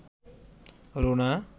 Runa